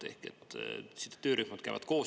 Te ütlesite, et töörühmad käivad koos.